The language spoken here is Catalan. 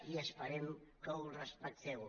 i esperem que ho respecteu